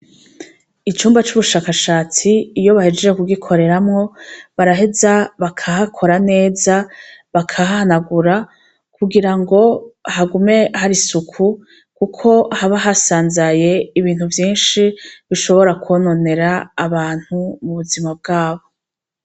Icumba c'ubushakashatsi iyo bahejeje kugikoreramwo baraheza bakahakora neza bakahhanagura kugira ngo hagume hari isuku, kuko haba hasanzaye ibintu vyinshi bishobora kwononera abantu mu buzima bwabo.